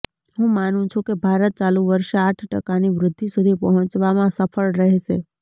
હું માનું છું કે ભારત ચાલુ વર્ષે આઠ ટકાની વૃદ્ધિ સુધી પહોંચવામાં સફળ રહેશે